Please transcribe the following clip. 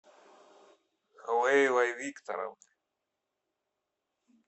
лейлой викторовной